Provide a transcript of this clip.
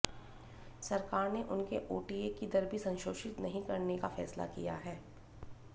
सरकार ने उनके ओटीए की दर भी संशोधित नहीं करने का फैसला किया है